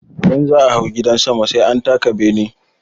Idan za'a hau gidan sama sai an taka bene.